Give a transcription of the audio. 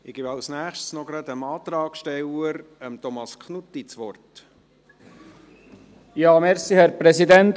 Ich gebe als Nächstes gerade noch dem Antragssteller Thomas Knutti das Wort.